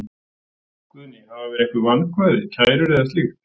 Guðný: Hafa verið einhver vankvæði, kærur eða slíkt?